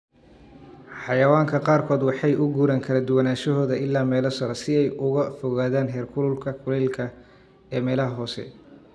Xayawaanka qaarkood waxay u guuraan kala duwanaanshahooda ilaa meelo sare si ay uga fogaadaan heerkulka kulaylka ee meelaha hoose.